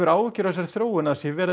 áhyggjur af þessari þróun að það sé